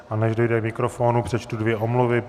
A než dojde k mikrofonu, přečtu dvě omluvy.